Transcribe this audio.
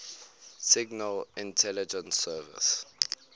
signal intelligence service